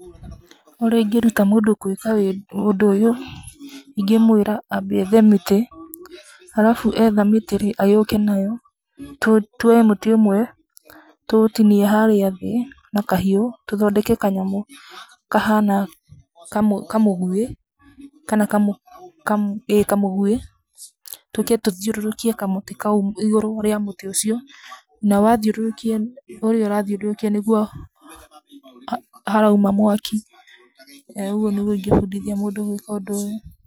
Ũrĩa ingĩruta mũndũ gwĩka ũndũ ũyũ, ingĩmwĩra ambe athe mĩtĩ alafu etha mĩtĩ rĩ agĩũke nayo, twoe mũtĩ ũmwe tũũtinie harĩa thĩ na kahiũ tũthondeke kanyamũ kahana kamũgwĩ, tũke tũthiũrũtũkie kamũtĩ kau igũrũ rĩa mũtĩ ũcio, na wathiũrũrũkia, ũrĩa ũra thiũrũrũkia nĩguo harauma mwaki, ĩĩ ũguo nĩguo ikĩbundithia gwĩka ũndũ ũyũ.